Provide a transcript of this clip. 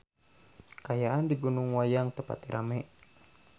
Kaayaan di Gunung Wayang teu pati rame